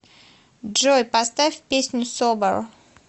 джой поставь песню собер